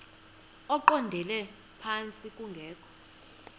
eqondele phantsi kungekho